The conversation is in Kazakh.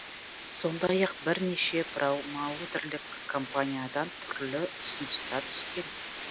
сондай ақ бірнеше промоутерлік компаниядан түрлі ұсыныстар түскен